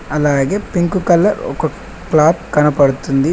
అలాగే pink colour ఒక cloth కనబడుతుంది.